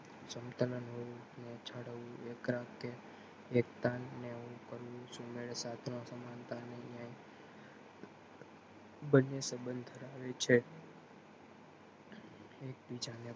સમતા ના કે એકતા ને સમાનતા બંને સબંધ ધરાવે છે એક બીજા ને